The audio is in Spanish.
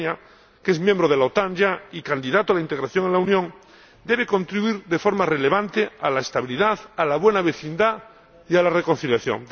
Albania, que ya es miembro de la OTAN y candidato a la integración en la Unión, debe contribuir de forma relevante a la estabilidad, a la buena vecindad y a la reconciliación.